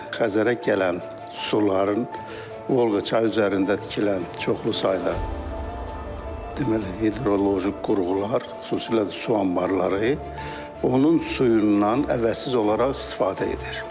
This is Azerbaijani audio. Xəzərə gələn suların Volqa çay üzərində tikilən çoxlu sayda deməli, hidroloji qurğular, xüsusilə də su anbarları onun suyundan əvəzsiz olaraq istifadə edir.